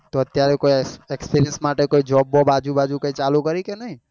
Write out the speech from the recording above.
તો અત્યારે કોઈ expirince માટે કોઈ job બોબ આજુ બાજુ કઈ માં ચાલુ કરી કે નઈ?